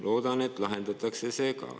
Loodan, et ka see lahendatakse.